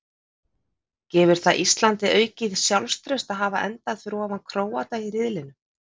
Gefur það Íslandi aukið sjálfstraust að hafa endaði fyrir ofan Króata í riðlinum?